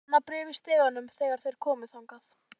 Það var annað bréf í stiganum þegar þeir komu þangað.